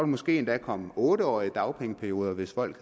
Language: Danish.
måske endda komme otte årige dagpengeperioder hvis folk